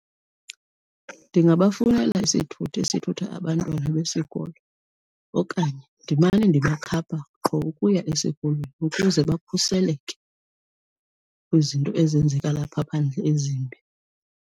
Ndingabafunela isithuthi esithutha abantwana besikolo okanye ndimane ndibakhapha qho ukuya esikolweni ukuze bakhuseleke kwizinto ezenzeka lapha phandle ezimbi.